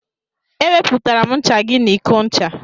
E wepụtara m ncha gị n'iko ncha.